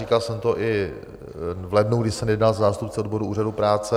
Říkal jsem to i v lednu, kdy jsem jednal se zástupci odborů úřadu práce.